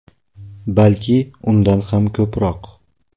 Balki undan ham ko‘proq.